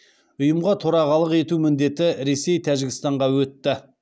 ұйымға төрағалық ету міндеті ресей тәжікстанға өтті